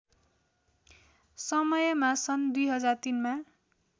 समयमा सन् २००३ मा